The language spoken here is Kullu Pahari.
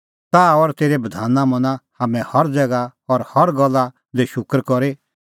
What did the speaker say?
ताह और तेरै बधाना मना हाम्हैं हर ज़ैगा और हर गल्ला दी शूकर करी